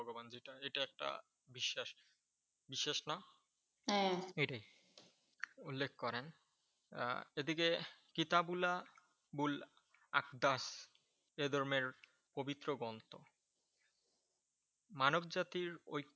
বিশ্বাস না এটাই উল্লেখ করেন। আহ এদিকে কিতাব এ ধর্মের পবিত্র গ্রন্থ। মানবজাতির ওই